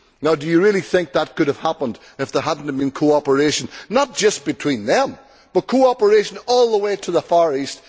Do you really think that could have happened if there had not been cooperation not just between them, but cooperation all the way to the Far East?